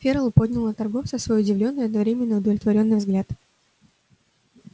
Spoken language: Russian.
ферл поднял на торговца свой удивлённый и одновременно удовлетворённый взгляд